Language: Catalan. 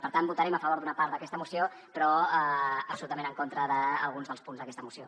per tant votarem a favor d’una part d’aquesta moció però absolutament en contra d’alguns dels punts d’aquesta moció